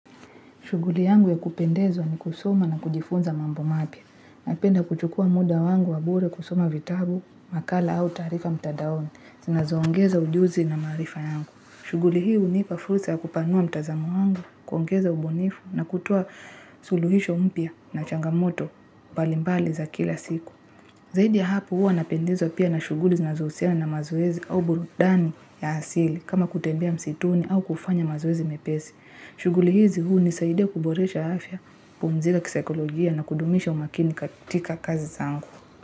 Shuguli yangu ya kupendezwa ni kusoma na kujifunza mambo mapya. Napenda kuchukua muda wangu wa bure kusoma vitabu, makala au taarifa mtandaoni. Zinazoongeza ujuzi na marifa yangu. Shuguli hii hunipa fursa ya kupanua mtazamo wangu, kuongeza ubunifu na kutoa suluhisho mpya na changamoto mbalimbali za kila siku. Zaidi ya hapo huwa napendezwa pia na shuguli znazohusiana na mazoezi au burudani ya asili kama kutembea msituni au kufanya mazoezi mepesi. Shuguli hizi huunisaidia kuboresha afya, kupumzika kisaikolojia na kudumisha umakini katika kazi zangu.